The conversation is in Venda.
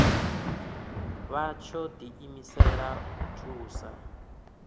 vha tsho diimisela u thusa